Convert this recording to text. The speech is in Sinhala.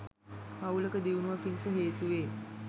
පවුලක දියුණුව පිණිස හේතුවේ.